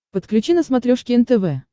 подключи на смотрешке нтв